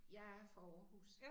Jeg er fra Aarhus